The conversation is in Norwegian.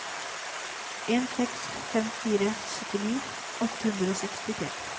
en seks fem fire syttini åtte hundre og sekstitre